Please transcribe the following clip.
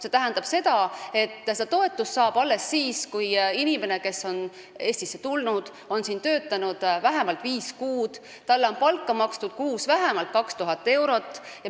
See tähendab, et toetust saab alles siis, kui inimene, kes on Eestisse tulnud, on siin töötanud vähemalt viis kuud ja talle on makstud kuus vähemalt 2000 eurot palka.